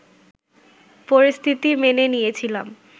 পরিস্থিতি মেনে নিয়েছিলাম